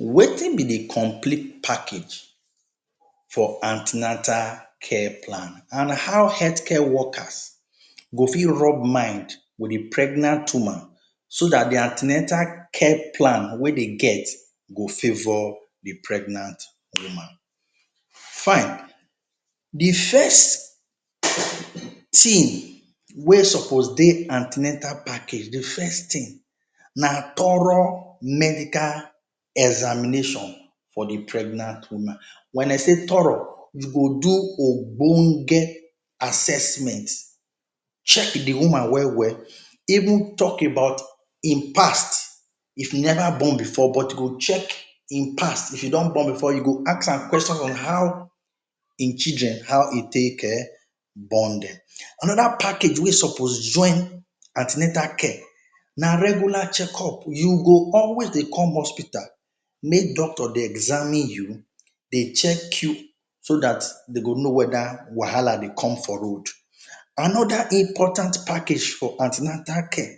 Wetin be the complete package for an ten atal care plan, and how healthcare workers go fit rub mind with the pregnant woman so that the an ten atal care plan wey de get go favour the pregnant woman Fine. The first thing wey suppose dey an ten atal package, the first thing na thorough medical examination for the pregnant woman. When I say thorough, you go do ogbonge assessment, check the woman well well, even talk about im past, if e never born before, but you go check im past. If she don born before, you ask am question on how im children how e take um born dem. Another package wey suppose join an ten atal care na regular checkup. You go always dey come hospital make doctor dey examine you, dey check you so that dem go know whether wahala dey come for road. Another important package for an ten atal care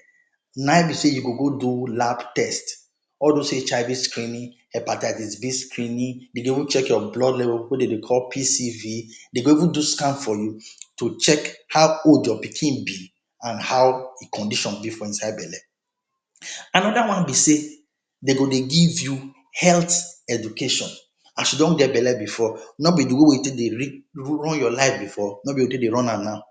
na im be sey you go go do lab test. All those HIV screening, hepatitis B screening, de dey even check your blood level wey de dey call PCV. Dem go even do scan for you to check how old your pikin be and how e condition dey for inside belle. Another one be sey, dem go dey give you health education. As you don get belle before, no be the way wey you take dey run your life before no be the way you take dey run am now.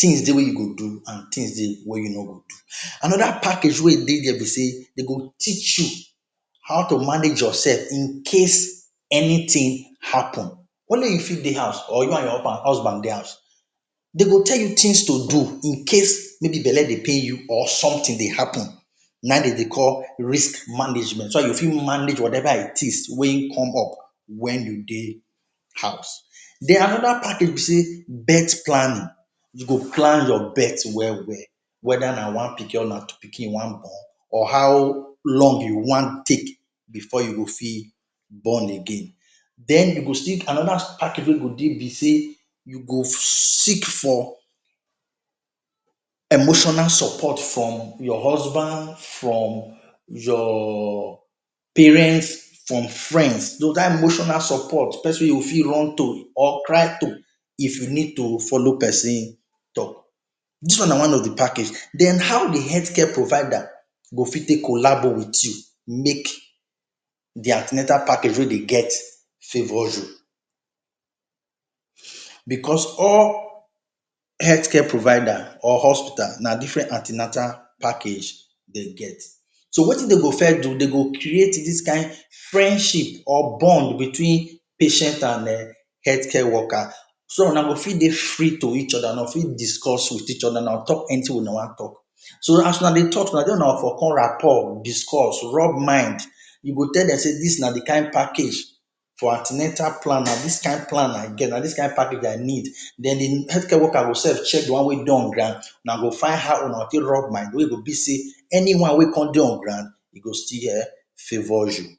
Things dey wey you go do and things dey wey you no go do. Another package wey dey there be sey dem go teach you how to manage yourself incase anything happen. Only you fit dey house or you and your husband dey house. Dem go tell you things to do incase maybe belle dey pain you or something dey happen. Na e de dey call risk management. So that you fit manage whatever it is wey come up when you dey house. Then, another package be sey birth planning. You go plan your birth well well, whether na one pikin or na two pikin you want born or how long you want take before you go fit born again. Then you go still another package wey go dey be sey you go seek for emotional support from your husband, from your parents, from friends. that emotional support, person wey you go fit run to, or cry to if you need to follow person talk. This one na one of the package. Then, how the healthcare provider go fit take collabo with you make the an ten atal package wey de get favour you? Because all healthcare provider or hospital na different an ten atal package dem get. So wetin dem go first do, dem go create this kind friendship or bond between patient and um healthcare worker, so una go fit dey free to each other, una fit discuss with each other, una talk anything wey una want talk. So, as una dey talk too, na there una go for come rapport, discuss, rub mind. You go tell dem sey this na the kind package for an ten atal plan na this kind plan i get, na this kind package i need. Then, the healthcare worker go sef check the one wey dey on ground. Una go find how una take rub mind wey go be sey, anyone wey come dey on ground e go still um favour you.